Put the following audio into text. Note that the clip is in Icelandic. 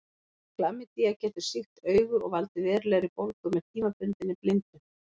Klamydía getur sýkt augu og valdið verulegri bólgu með tímabundinni blindu.